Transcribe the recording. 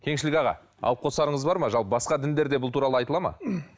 кеңшілік аға алып қосарыңыз бар ма жалпы басқа діндерде бұл туралы айтылады ма